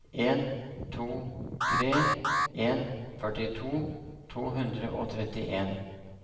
en to tre en førtito to hundre og trettien